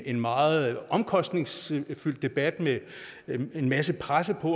en meget omkostningsfyldt debat med en masse presse på